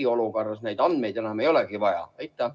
Kas eriolukorras neid andmeid enam ei olegi vaja?